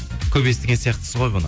көп естіген сияқтысыз ғой бұны